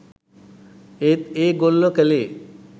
ඒත් ඒගොල්ල කලේ